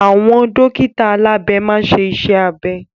Àwọn dókítà alabe maa n ṣe iṣẹ́ abẹ.